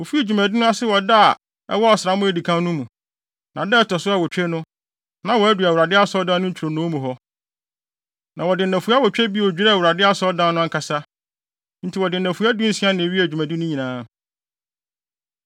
Wofii dwumadi no ase wɔ da bi a ɛwɔ ɔsram a edi kan no mu. Na da a ɛto so awotwe no, na wɔadu Awurade Asɔredan no ntwironoo mu hɔ. Na wɔde nnafua awotwe bio dwiraa Awurade Asɔredan no ankasa. Enti wɔde nnafua dunsia na ewiee dwumadi no nyinaa.